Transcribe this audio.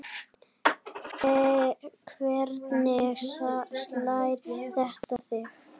Hvernig slær þetta þig?